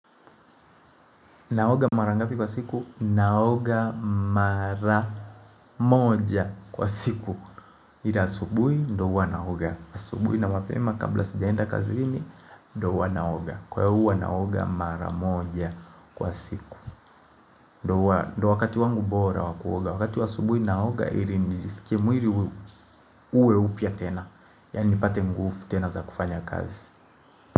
Naoga mara ngapi kwa siku? Naoga maramoja kwa siku. Ila asubuhi ndio huwa naoga. Asubuhi na mapema kabla sijaenda kazini ndio huwa naoga. Kwa hiyo huwa naoga maramoja kwa siku. Ndio wakati wangu bora wakuoga. Wakati wa asubuhi naoga ili nijisikie mwili uwe upya tena. Yaani nipate ngufu tena za kufanya kazi.